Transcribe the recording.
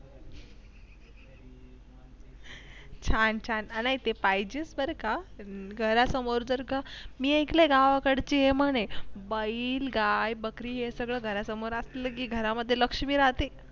छान छान पाहिजेत बर का घरासमोर जर का मी ऐकले गावाकडचे म्हणे बैल, गाय, बकरी हे सगळं घरासमोर असले की घरामध्ये लक्ष्मी राहते.